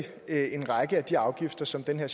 så dem der